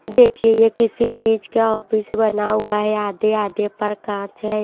देखिए ये किसी चीज का ऑफिस बना हुआ है आधे आधे पर कांच है।